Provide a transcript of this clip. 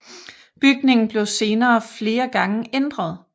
Bygningen blev senere flere gange ændret